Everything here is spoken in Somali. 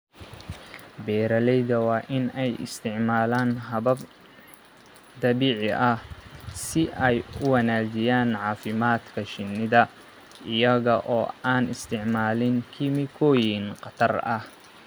Beeralayda waa in ay isticmaalaan habab dabiici ah si ay u wanaajiyaan caafimaadka shinnida iyaga oo aan isticmaalin kiimikooyin khatar ah.